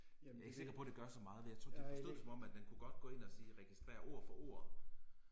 Jeg er ikke sikker på det gør så meget vil jeg tro det forstod det som at den kunne godt gå ind og sige registrer ord for ord